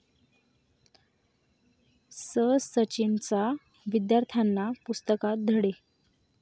स...'सचिनचा, विद्यार्थ्यांना पुस्तकात धडे